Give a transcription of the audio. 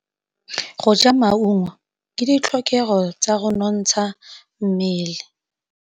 Go ja maungo ke ditlhokegô tsa go nontsha mmele.